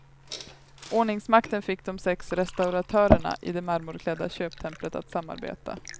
Ordningsmakten fick de sex restauratörerna i det marmorklädda köptemplet att samarbeta.